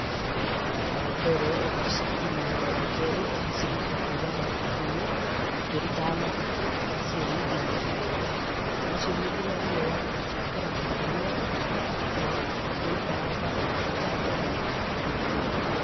Wa mbere ũgacitinia, wa kerĩ ũgaciruta kuuma mahuti-inĩ ũkĩrutaga mahuti, ũgaciũmithi na riũa, waciũmithi na riũa ũgaciĩkĩra makũnia ũkĩigaga store ciaikaranga ũgacithandũra ũgĩĩkĩraga mĩtũngi.